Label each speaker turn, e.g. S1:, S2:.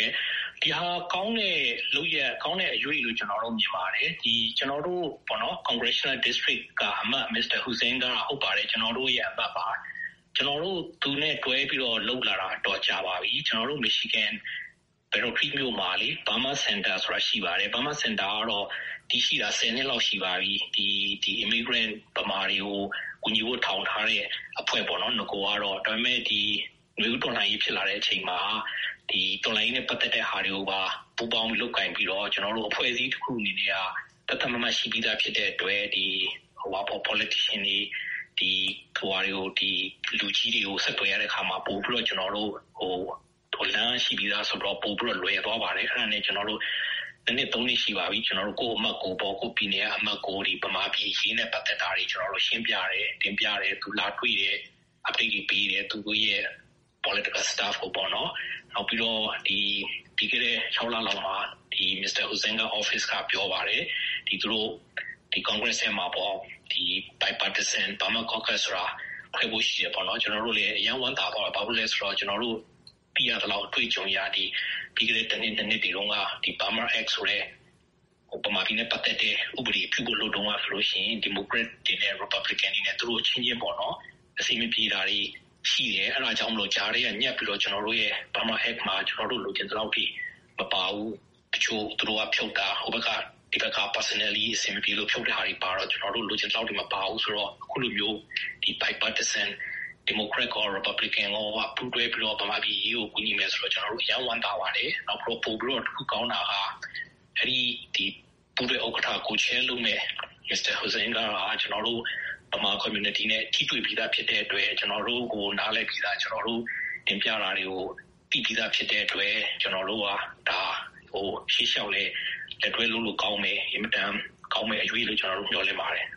S1: ဲ့၊ ဒီဟာ ကောင်းတဲ့လုပ်ရပ်၊ ကောင်းတဲ့အရွေ့လို့ ကျနော်တို့မြင်ပါတယ်။ ကျနော်တို့ congressional district က အမတ် မစ္စတာ Huizenga ဟုတ်ပါတယ်။ ကျနော်တို့ရဲ့အမတ်ပါ။ ကျနော်တို့ သူနဲ့တွဲပြီးလုပ်လာတာ အတော်ကြာပါပြီ။ ကျနော်တို့ မီချီဂန် Battle Creek မြို့မှာလေ - Burma Center ဆိုတာ ရှိပါတယ်။ Burma Center ကတော့ တည်ရှိတာ ဆယ်နှစ်လောက် ရှိပါပြီ။ အမေကိုယ်တိုင် ဗမာတွေကို ကူညီဖို့ထောင်ထားတဲ့အဖွဲ့ပေါ့နော်၊ နဂိုကတော့။ ဒါပေမဲ့ နွေဦးတော်လှန်ရေးဖြစ်လာတဲ့အချိန်မှာ တော်လှန်ရေးနဲ့ပတ်သက်တဲ့ဟာတွေကိုပါ ပူးပေါင်းလုပ်ကိုင်ပြီးတော့ အဖွဲ့အစည်းတခုအနေနဲ့က သတ်သတ်မှတ်မှတ်ရှိပြီးသားဖြစ်တဲ့အတွက် နိုင်ငံရေးသမားတွေ၊ လူကြီးတွေကိုဆက်သွယ်ရတဲ့အခါမှာ လမ်းရှိပြီးသားဆိုတော့ ပိုပြီးတော့ လွယ်သွားပါတယ်။ အဲဒါနဲ့ နှစ်နှစ်၊ သုံးနှစ်ရှိပါပြီ။ ကိုယ့်ပြည်နယ်က ကိုယ့်အမတ်ကို ဗမာပြည်အရေးနဲ့ပတ်သက်တာတွေကို ကျနော်တို့ ရှင်းပြတယ်။တင်ပြတယ်၊ သူလာတွေ့တယ်၊ update တွေပေးတယ်၊ သူတို့ရဲ့ political... ပေါ့နော်။... နောက်ပြီးတော့ ပြီးခဲ့တဲ့ ၆ လလောက်မှာ မစ္စတာ Huizenga ရုံးက ပြောပါတယ်။ သူတို့ congress ထဲမှာပေါ့- Bipartisan Burma Caucus ဆိုတာ ဖွဲ့ဖို့ရှိတယ်ပေါ့နော်၊ ကျနော်တို့လည်း အရမ်းဝမ်းသာသွားတာပေါ့။ ဘာလို့လဲဆိုတော့ ကျနော်တို့သိရသလောက် အတွေ့အကြုံအရ ပြီးခဲ့တဲ့ တနှစ်-နှစ်နှစ် တွေတုန်းက Burma Act ဆိုတဲ့ ဗမာပြည်နဲ့ပတ်သက်တဲ့ဥပဒေပြုဖို့လုပ်တုန်းကဆိုရင် ဒီမိုကရက်တွေနဲ့ ရီပတ်ဘလီကန်တွေနဲ့ သူတို့အချင်းချင်းပေါ့-အဆင်မပြေတာတွေရှိတယ်။ အဲဒါကြောင့်မို့လို့ ကြားထဲကညပ်ပြီးတော့ ကျနော်တို့ရဲ့ Burma Act မှာ ကျနော်တို့လိုချင်သလောက်အထိ မပါဘူး။ တချို့ သူတို့က ဖြုတ်တာ၊ ဟိုဘက်က personally အဆင်မပြေလို့ဖြုတ်တဲ့ဟာတွေပါတော့ ကျနော်တို့ လိုချင်သလောက် မပါဘူးဆိုတော့ အခုလိုမျိုး Bipartisan ဒီမိုကရက်ရော၊ ရီပတ်ဘလီကန်ရောက ပူးတွဲပြီးတော့ ဗမာပြည်အရေးကို ကူညီမယ်ဆိုတာ ကျနော်တို့အရမ်းဝမ်းသာပါတယ်။ ပိုပြီးတော့ တခုကောင်းတာက ပူးတွဲဥက္ကဋ္ဌ.... လုပ်မယ့် မစ္စတာ Huizenga ဟာ ကျနော်တို့ ဗမာကွန်မြူနတီနဲ့ ထိတွေ့ပြီးသားဖြစ်တဲ့အတွက် ကျနော်တို့ကို နားလည်ပြီးသား၊ ကျနော်တို့တင်ပြတာတွေကို သိပြီးသားဖြစ်တဲ့အတွက် ကျနော်တို့က ရှေ့လျှောက်လည်း တွဲလုပ်လို့ကောင်းမယ်၊ အင်မတန်ကောင်းမယ့်အရွေ့လို့ ကျနော်တို့ မျှော်လင့်ပါတယ်